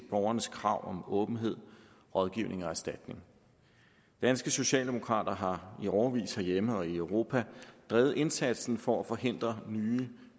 borgernes krav om åbenhed rådgivning og erstatning danske socialdemokrater har i årevis herhjemme og i europa drevet indsatsen for at forhindre en ny